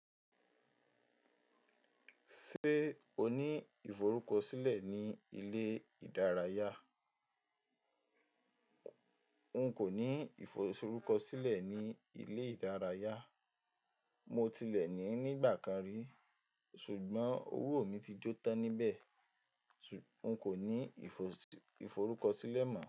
Ṣé o ní ìforúkọsílẹ̀ ní ilé ìdárayá? N kò ní ìforúkọsílẹ̀ ní ilé ìdárayá. Mọ́ tì lẹ̀ ní ní ìgbà kan rí, ṣùgbọ́n ọwọ́ mi tì jó tán ní ibẹ̀. Òun kò ní ìforúkọsílẹ̀ mọ̀